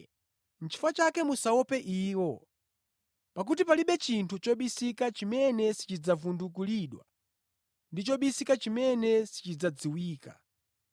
“Chifukwa chake musaope iwo. Pakuti palibe chinthu chobisika chimene sichidzavundukulidwa, ndi chobisika chimene sichidzadziwika.